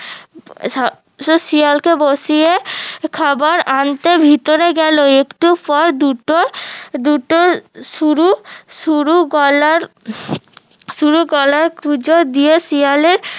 শিয়াল বসিয়ে খাবার আনতে ভিতরে গেলো একটু পর দুটো দুটো সরু সরু গলার সরু গলার শিয়ালের